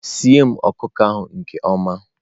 sie m ọkụkọ ahụ nke ọma!